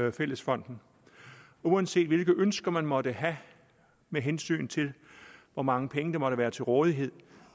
af fællesfonden uanset hvilke ønsker man måtte have med hensyn til hvor mange penge der måtte være til rådighed